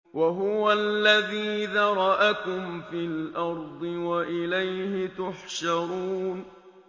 وَهُوَ الَّذِي ذَرَأَكُمْ فِي الْأَرْضِ وَإِلَيْهِ تُحْشَرُونَ